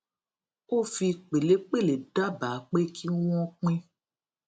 ó fi pèlépèlé dábàá pé kí wón pín